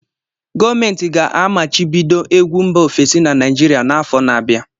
Gọọmentị ga-amachibido egwu mba ofesi na Naịjirịa n'afọ na-abịa.